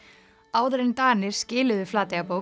áður en Danir skiluðu Flateyjarbók